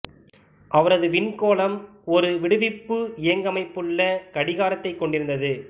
அவரது விண்கோளம் ஒரு விடுவிப்பு இயங்கமைப்பு உள்ள கடிகாரத்தைக் கொண்டிருந்தது